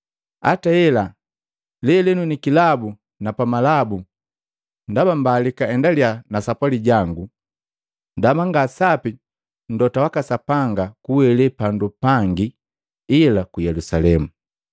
Hata ela, lelenu ni kilabu na pamalabu, ndaba mbalika endaliya na sapwali jangu, ndaba ngasapi mlota waka Sapanga kuwele pandu pangi ila ku Yelusalemu.